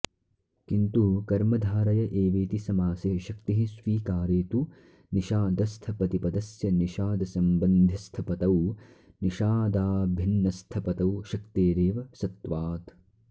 किन्तु कर्मधारय एवेति समासे शक्तिः स्वीकारे तु निषादस्थपतिपदस्य निषादसम्बन्धिस्थपतौ निषादाभिन्नस्थपतौ शक्तेरेव सत्वात्